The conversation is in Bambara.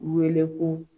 Wele ko